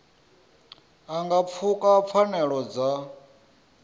a nga pfuka pfanelo dza